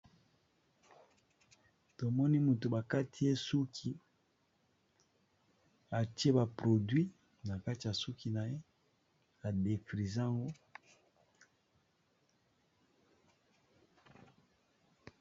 Na bilili oyo tozali komona eza mutu bakati ye suki, pe tomoni batie ye biloko oyo batiaka ba ndeko basi pona suka na bango ekoma pete